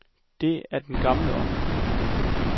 Det er den gamle ånd.